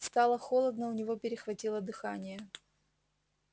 стало холодно у него перехватило дыхание